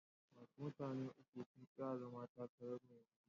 Wasu mutane uku sun tsaya takarar zama mai unguwa.